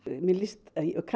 mér líst